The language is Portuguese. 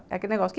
É aquele negócio.